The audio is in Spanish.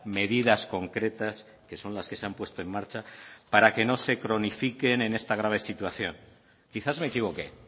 medidas concretas que son las que se han puesto en marcha para que no se cronifiquen en esta grave situación quizás me equivoqué